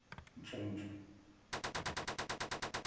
mfumfu